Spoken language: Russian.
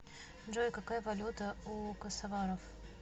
джой какая валюта у косоваров